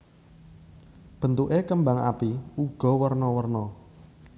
Bentuké kembang api uga werna werna